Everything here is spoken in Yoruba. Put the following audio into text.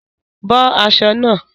Bọ́ aṣọ náà!